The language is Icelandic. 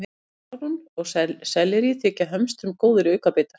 Melónur og sellerí þykja hömstrum góðir aukabitar.